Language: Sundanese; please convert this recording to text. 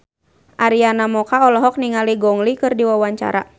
Arina Mocca olohok ningali Gong Li keur diwawancara